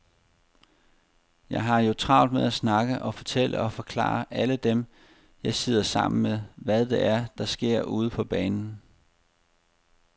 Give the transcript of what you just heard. Jeg har jo travlt med at snakke og fortælle og forklare alle dem, jeg sidder sammen med, hvad det er, der sker ude på banen.